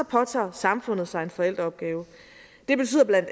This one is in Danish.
påtager samfundet sig en forældreopgave det betyder bla